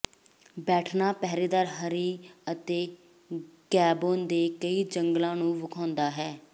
ਬੈਠਣਾ ਪਹਿਰੇਦਾਰ ਹਰੀ ਹੈ ਅਤੇ ਗੈਬੋਨ ਦੇ ਕਈ ਜੰਗਲ ਨੂੰ ਵੇਖਾਉਦਾ ਹੈ